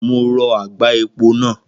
Mo rọ àgbá epo náà.